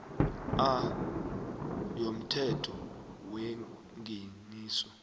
a yomthetho wengeniso